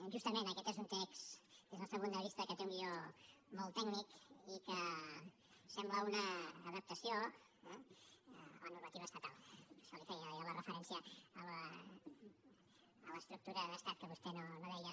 justament aquest és un text des del nostre punt de vista que té un guió molt tècnic i que sembla una adaptació eh a la normativa estatal per això li feia jo la referència a l’ estructura d’estat que vostè no deia